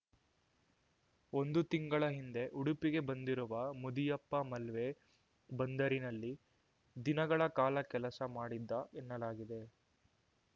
ಒಂದು ತಿಂಗಳ ಹಿಂದೆ ಉಡುಪಿಗೆ ಬಂದಿರುವ ಮುದಿಯಪ್ಪ ಮಲ್ವೆ ಬಂದರಿನಲ್ಲಿ ದಿನಗಳ ಕಾಲ ಕೆಲಸ ಮಾಡಿದ್ದ ಎನ್ನಲಾಗಿದೆ